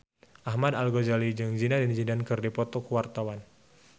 Ahmad Al-Ghazali jeung Zidane Zidane keur dipoto ku wartawan